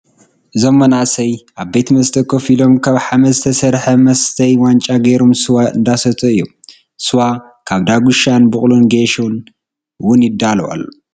እዞም መናእሰይ ኣብ ቤት መስተ ኮፍ ኢሎ ካብ ሓመድ ዝተሰረሐ መስተይ ዋንጫ ገይሮም ስዋ እነዳሰተዩ እዮም። ስዋ ካብ ደጉሻን ፣ቡቁልን ጌሶን እወን ይዳሎ።